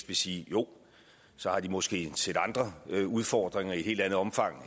vil sige jo så har de måske et sæt andre udfordringer i et helt andet omfang